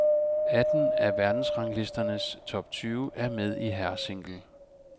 Atten af verdensranglistens top tyve er med i herresingle.